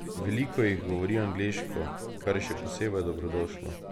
Veliko jih govori angleško, kar je še posebej dobrodošlo.